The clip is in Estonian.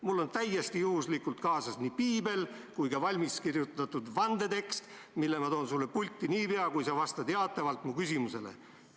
Mul on täiesti juhuslikult kaasas nii piibel kui ka valmis kirjutatud vandetekst, mille ma toon sulle pulti niipea, kui sa vastad mu küsimusele jaatavalt.